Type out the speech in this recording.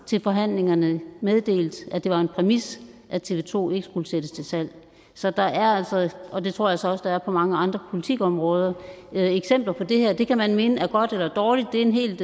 til forhandlingerne meddelt at det var en præmis at tv to ikke skulle sættes til salg så der er altså og det tror jeg så også der er på mange andre politikområder eksempler på det her det kan man mene er godt eller dårligt det er en helt